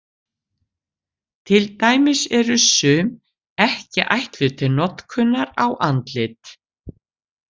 Til dæmis eru sum ekki ætluð til notkunar á andlit.